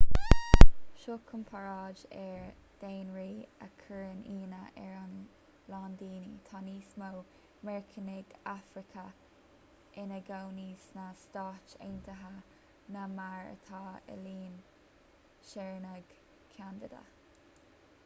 seo comparáid ar dhaonraí a chuireann íonadh ar a lán daoine tá níos mó meiriceánaigh afracacha ina gcónaí sna stáit aontaithe ná mar atá i líon shaoránaigh cheanada